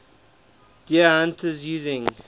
deer hunters using